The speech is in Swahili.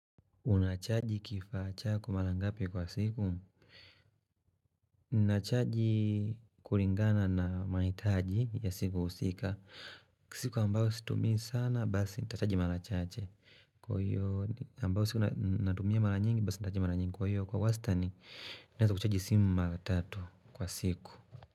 Unachaji kifaa chako mara ngapi kwa siku? Nachaji kulingana na mahitaji ya siku husika. Kwa siku ambayo situmii sana, basi nitachaji mara chache. Kwa hiyo ambayo siku natumia mara nyingi, basi nitachaji mara nyingi kwa hiyo. Kwa wasitani, naweza kuchaji simu mara tatu kwa siku.